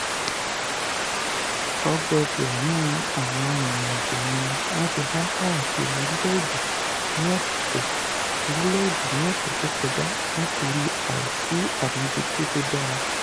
ọgọọgọ́rùn-ún àwọn arìnrìn-àjò ni wọ́n ti há káàkiri orílẹ̀-èdè ní ọ̀sẹ̀ orílẹ̀-èdè ní ọ̀sẹ̀ tó kọjá nítorí àìsí àmójútó tó dára.